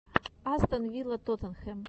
астон вилла тоттенхэм